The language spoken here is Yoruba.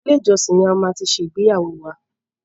Ilé-ìjọsin ni a ti máa ṣe ìgbéyàwó wa.